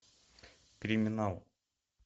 криминал